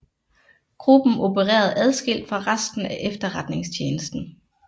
Gruppen opererede adskilt fra resten af Etterretningstjenesten